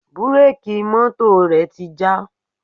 Búréèkì mọ́tò rẹ̀ ti já.